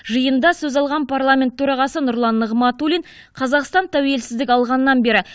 жиында сөз алған парламент төрағасы нұрлан нығматулин қазақстан тәуелсіздік алғаннан бері